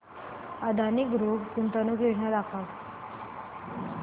Adani group गुंतवणूक योजना दाखव